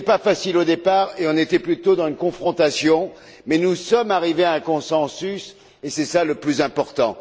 Ce n'était pas facile au départ et on était plutôt dans une confrontation, mais nous sommes arrivés à un consensus et c'est cela le plus important.